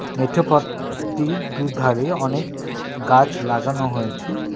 মেঠো পথটির দু'ধারে অনেক গাছ লাগানো হয়েছে.